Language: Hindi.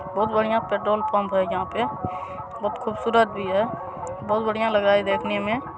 बढ़िया पेट्रोल पंप है यहां पे बहुत खूबसूरत भी है बहुत बढ़िया लग रहा है देखने मे ---